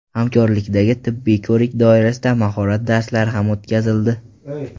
Hamkorlikdagi tibbiy ko‘rik doirasida mahorat darslari ham o‘tkazildi.